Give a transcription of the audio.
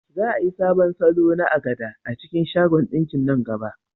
Za a yi sabon salo na agbada a cikin shagon ɗinkin nan gaba.